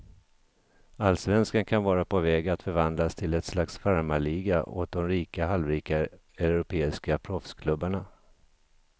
Allsvenskan kan vara på väg att förvandlas till ett slags farmarliga åt de rika och halvrika europeiska proffsklubbarna.